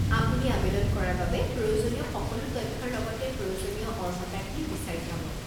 আপুনি আৱেদন কৰাৰ বাবে প্ৰয়োজনীয় সকলো তথ্যৰ লগতে প্ৰয়োজনীয় অৰ্হতাখিনি বিচাৰি পাব।